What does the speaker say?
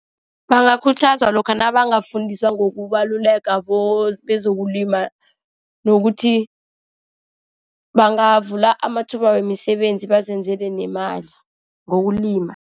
Bangakhuthazwa lokha nabangafundiswa ngokubaluleka kwezokulima nokuthi bangavula amathuba wemisebenzi, bazenzele nemali, ngokulima.